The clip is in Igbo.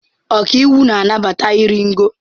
Ọkàiwu na-anabata iri ngo.